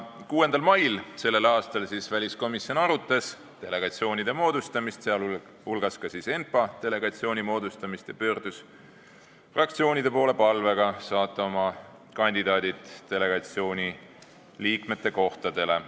Tänavu 6. mail väliskomisjon arutas delegatsioonide moodustamist, sh ka ENPA delegatsiooni moodustamist, ja pöördus fraktsioonide poole palvega saata oma kandidaadid delegatsiooni liikmete kohtadele.